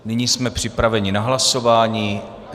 Nyní jsme připraveni na hlasování.